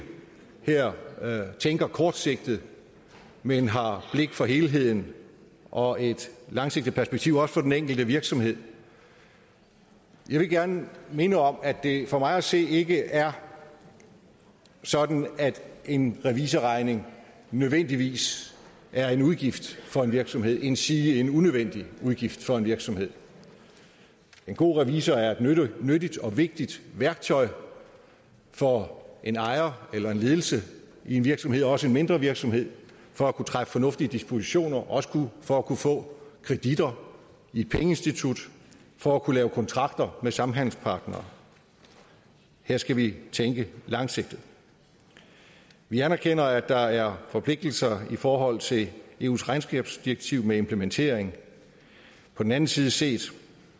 her tænker kortsigtet men har blik for helheden og et langsigtet perspektiv også for den enkelte virksomhed jeg vil gerne minde om at det for mig at se ikke er sådan at en revisorregning nødvendigvis er en udgift for en virksomhed endsige en unødvendig udgift for en virksomhed en god revisor er et nyttigt og vigtigt værktøj for en ejer eller en ledelse i en virksomhed også en mindre virksomhed for at kunne træffe fornuftige dispositioner og også for at kunne få kreditter i et pengeinstitut for at kunne lave kontrakter med samhandelspartnere her skal vi tænke langsigtet vi anerkender at der er forpligtelser i forhold til eus regnskabsdirektiv med implementeringen på den anden side set